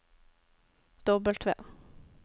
W